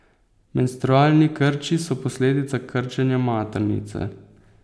Menstrualni krči so posledica krčenja maternice.